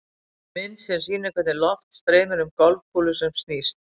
Mynd sem sýnir hvernig loft streymir um golfkúlu sem snýst.